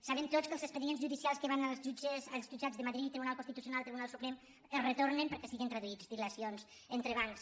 sabem tots que els expedients judicials que van als jutjats de madrid tribunal constitucional tribunal suprem es retornen perquè siguen traduïts dilacions entrebancs